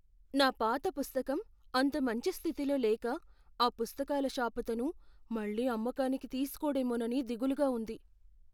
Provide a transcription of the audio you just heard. నా పాత పుస్తకం అంత మంచి స్థితిలో లేక ఆ పుస్తకాల షాపతను మళ్ళీ అమ్మకానికి తీసుకోడేమోనని దిగులుగా ఉంది.